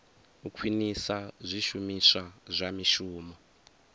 u khwinisa zwishumiswa zwa mishumo